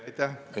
Aitäh!